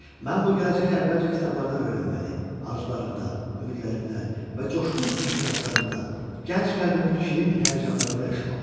Mən bu gələcəyi əvvəlcə kitablardan öyrənməli, arzularımda, ümidlərimdə və coşqun ehtiraslarımda, gənc qəlbimin şirin həyəcanlarında yaşamalı idim.